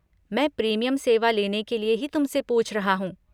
मैं प्रीमियम सेवा लेने के लिए ही तुमसे पूछ रहा हूँ।